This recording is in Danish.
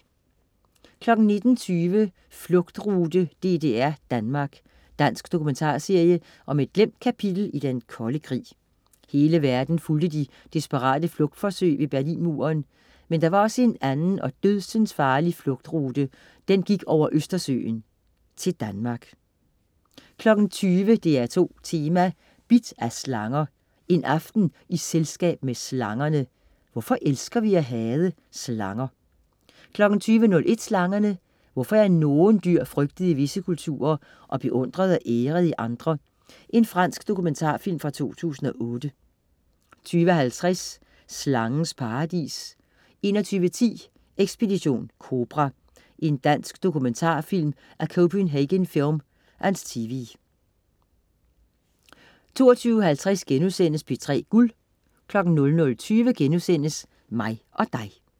19.20 Flugtrute: DDR-Danmark. Dansk dokumentarserie om et glemt kapitel i den kolde krig. Hele verden fulgte de desperate flugtforsøg ved Berlinmuren. Men der var også en anden og dødsensfarlig flugtrute. Den gik over Østersøen, til Danmark 20.00 DR2 Tema: Bidt af slanger. En aften i selskab med slangerne! Hvorfor elsker vi at hade slanger? 20.01 Slangerne. Hvorfor er nogen dyr frygtet i visse kulturer og beundret og æret i andre? Fransk dokumentarfilm fra 2008 20.50 Slangens paradis 21.10 Ekspedition Kobra. Dansk dokumentarfilm af Copenhagen Film & TV 22.50 P3 Guld* 00.20 Mig og Dig*